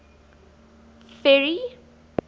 ferry